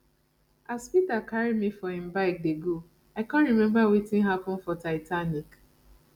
as peter carry me for im bike dey go i come remember wetin happen for titanic